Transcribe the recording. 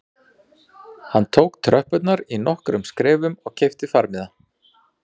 Hann tók tröppurnar í nokkrum skrefum og keypti farmiða